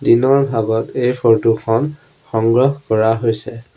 দিনৰ ভাগত এই ফৰ্টো খন সংগ্ৰহ কৰা হৈছে।